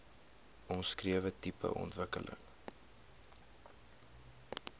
omskrewe tipe ontwikkeling